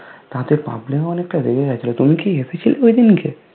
তাদের public অনেকটা রেগে গেছিলো তুমি কি এসেছিলে ঐদিনকে?